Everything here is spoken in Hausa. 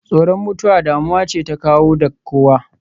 Tsoron mutuwa damuwa ce ta kowa da kowa.